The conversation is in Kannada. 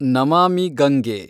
ನಮಾಮಿ ಗಂಗೆ